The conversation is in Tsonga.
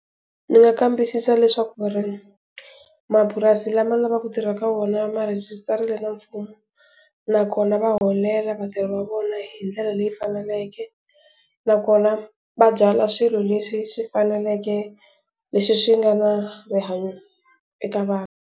Ni nga kambisisa leswaku ri, mapurasi lama ni lava ku tirha ka wona ma rhegisitariwile na mfumo. Nakona va holela vatirhi va vona hi ndlela leyi faneleke. Nakona va byala swilo leswi swi faneleke, leswi swi nga na rihanyo eka vanhu.